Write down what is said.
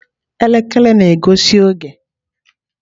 Elekere na-egosi oge.